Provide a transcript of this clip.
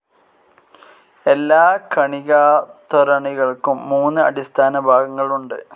എല്ലാ കണികാത്വരണികൾക്കും മൂന്ന് അടിസ്ഥാന ഭാഗങ്ങൾ ഉണ്ട്.